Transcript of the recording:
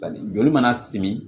Joli mana simi